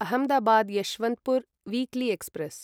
Ahmedabad Yesvantpur weekly express